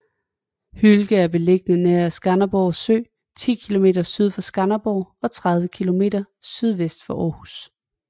Hylke er beliggende nær Skanderborg Sø 10 kilometer syd for Skanderborg og 30 kilometer sydvest for Aarhus